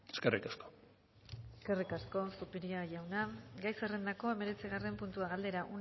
eskerrik asko eskerrik asko zupiria jauna gai zerrendako hemeretzigarren puntua galdera